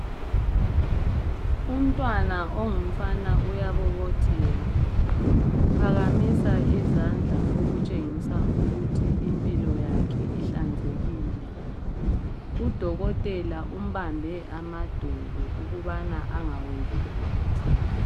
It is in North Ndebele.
umntwana ongumfana uyabobotheka uphakamisa izandla okutshengisa ukuthi impilo ihlanzekile udokotela umbambe amadolo ukubana angaweli phansi